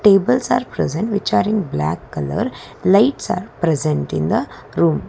tables present which are in black colour lights are present in the room.